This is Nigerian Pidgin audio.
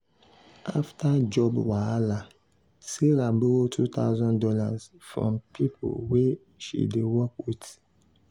after job wahala sarah borrow two thousand dollars from people wey she dey work with.